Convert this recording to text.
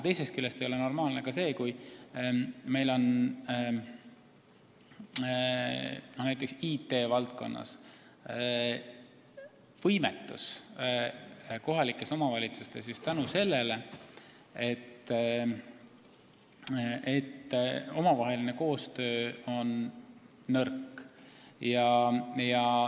Teisest küljest ei ole normaalne ka see, kui meil on kohalikes omavalitsustes näiteks IT-valdkonnas võimetus just seetõttu, et omavaheline koostöö on nõrk.